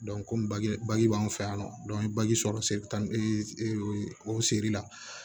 komi bage bagaji b'anw fɛ yan nɔ sɔrɔ seli taa ni o seri la